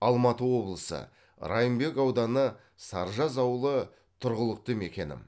алматы облысы райымбек ауданы саржаз ауылы тұрғылықты мекенім